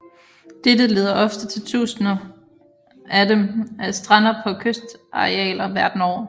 Dette leder ofte til tusinder af dem strander på kysterarealer verden over